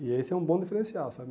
E esse é um bom diferencial, sabe?